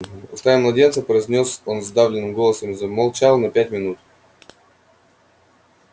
устами младенца произнёс он сдавленным голосом и замолчал на пять минут